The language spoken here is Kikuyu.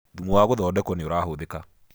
thumu wa guthondekwo nĩurahuthika